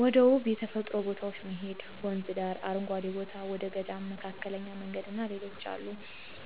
ወደ ውብ የተፈጥሮ ቦታዎች መሔድ ወንዝ ዳር፣ አረንጓዴ ቦታ፣ ወደ ገዳም፣ መካከለኛ መንገድ እና ሌሎችም አሉ።